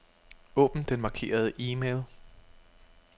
Åbn den markerede e-mail.